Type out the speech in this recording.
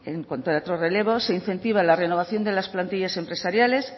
en contrato relevo se incentiva la renovación de las plantillas empresariales